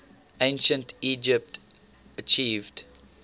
ancient egypt achieved